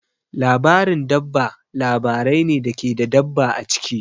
Labarin dabba labarai ne da ke da dabba a ciki.